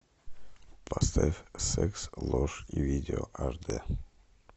поставь секс ложь и видео аш д